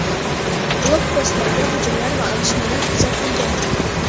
Blokpostlarga hujumlar va otishmalar kuzatilgan.